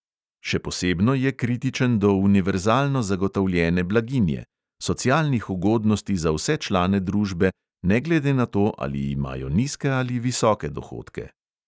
Še posebno je kritičen do univerzalno zagotovljene blaginje: socialnih ugodnosti za vse člane družbe, ne glede na to, ali imajo nizke ali visoke dohodke.